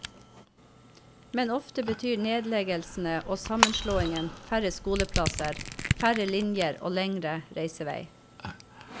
Men ofte betyr nedleggelsene og sammenslåingene færre skoleplasser, færre linjer og lengre reisevei.